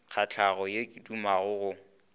nkgahlago yo ke dumago go